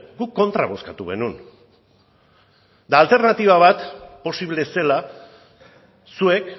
guk kontra bozkatu genuen eta alternatiba bat posible ez zela zuek